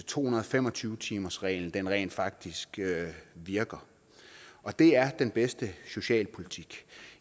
to hundrede og fem og tyve timersreglen rent faktisk virker og det er den bedste socialpolitik